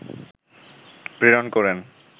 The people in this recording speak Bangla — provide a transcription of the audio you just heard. প্রেরণ করেন